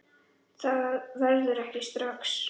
Það verður ekki strax